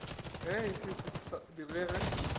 ge se se sa direge